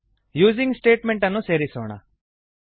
using statement ಅನ್ನು ಸೇರಿಸೋಣ